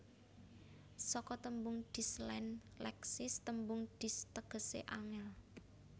Saka tembung Dis lan Leksis tembung Dis tegesé angel